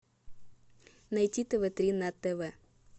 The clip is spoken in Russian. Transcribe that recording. найти тв три на тв